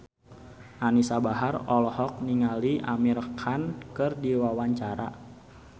Anisa Bahar olohok ningali Amir Khan keur diwawancara